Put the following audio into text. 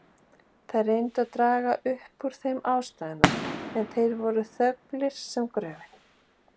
Þær reyndu að draga upp úr þeim ástæðuna, en þeir voru þöglir sem gröfin.